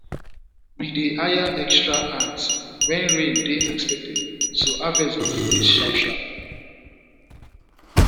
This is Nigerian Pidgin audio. we dey hire extra hands when rain dey expected so harvest go finish sharp sharp